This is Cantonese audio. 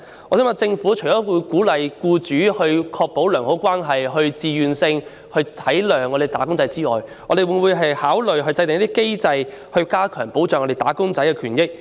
我想問，政府除了鼓勵僱主為確保良好勞資關係而自願體諒"打工仔"外，會否也考慮制訂機制，以加強保障"打工仔"的權益呢？